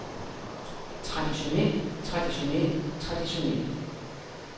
traditionel traditionel traditionel